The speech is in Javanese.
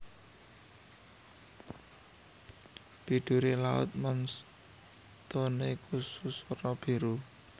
Biduri laut moonstone kusus werna biru